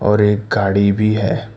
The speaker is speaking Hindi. और एक गाड़ी भी है।